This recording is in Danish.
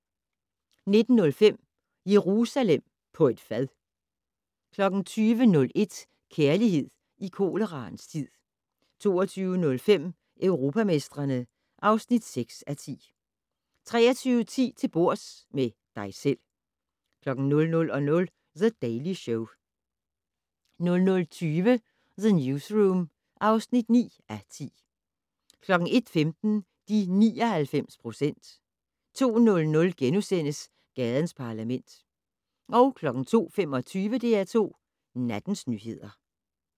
19:05: Jerusalem på et fad 20:01: Kærlighed i koleraens tid 22:05: Europamestrene (6:10) 23:10: Til bords - med dig selv 00:00: The Daily Show 00:20: The Newsroom (9:10) 01:15: De 99 procent 02:00: Gadens Parlament * 02:25: DR2 Nattens nyheder